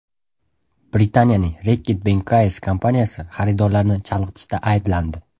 Britaniyaning Reckitt Benckise kompaniyasi xaridorlarni chalg‘itishda ayblandi.